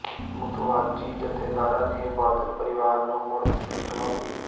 ਮੁਤਵਾਜ਼ੀ ਜਥੇਦਾਰਾਂ ਨੇ ਬਾਦਲ ਪਰਿਵਾਰ ਨੂੰ ਮੁੜ ਦਿੱਤੀ ਚੁਣੌਤੀ